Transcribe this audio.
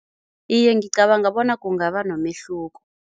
Iye, ngicabanga bona kungaba nomehluko.